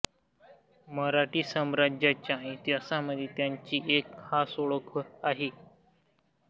मराठी साम्राज्याच्या इतिहासामध्ये त्याची एक खास ओळख आहे